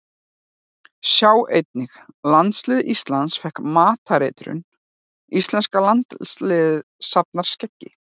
Sjá einnig: Landslið Íslands fékk matareitrun Íslenska landsliðið safnar skeggi